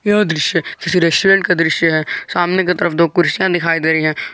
यह दृश्य किसी रेस्टोरेंट का दृश्य है सामने की तरफ दो कुर्सियां दिखाई दे रही हैं।